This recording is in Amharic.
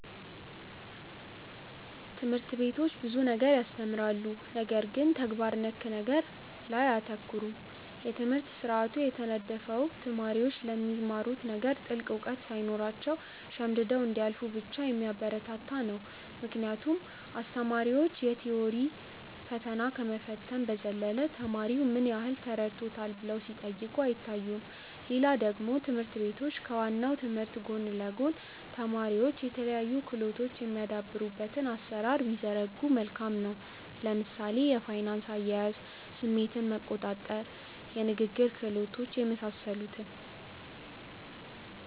ትምህርት ቤቶች ብዙ ነገር ያስተምራሉ ነገር ግን ተግባር ነክ ነገር ላይ አያተኩሩም። የትምህርት ስርአቱ የተነደፈው ተማሪዎች ስለሚማሩት ነገር ጥልቅ እውቀት ሳይኖራቸው ሸምድደው እንዲያልፉ ብቻ የሚያበረታታ ነው ምክንያቱም አስተማሪዎች የ ቲዎሪ ፈተና ከመፈተን በዘለለ ተማሪው ምን ያህል ተረድቶታል ብለው ሲጠይቁ አይታዩም። ሌላ ደግሞ ትምህርት ቤቶች ከ ዋናው ትምህርት ጎን ለ ጎን ተማሪዎች የተለያዩ ክህሎቶች የሚያዳብሩበትን አሰራር ቢዘረጉ መልካም ነው። ለምሳሌ የፋይናንስ አያያዝ፣ ስሜትን መቆጣር፣ የንግግር ክህሎት የመሳሰሉትን